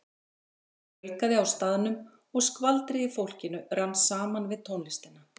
Það fjölgaði á staðnum og skvaldrið í fólkinu rann saman við tónlistina.